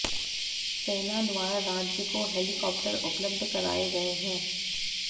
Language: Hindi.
सेना द्वारा राज्य को हेलीकाप्टर उपलब्ध कराये गये है